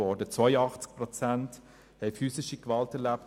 82 Prozent der Frauen haben physische Gewalt erlebt.